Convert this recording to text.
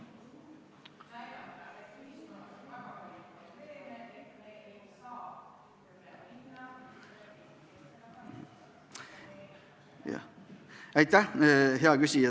Jah, aitäh, hea küsija!